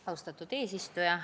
Austatud eesistuja!